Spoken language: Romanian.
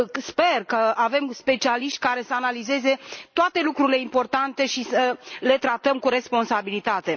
Sper că avem specialiști care să analizeze toate lucrurile importante și să le tratăm cu responsabilitate.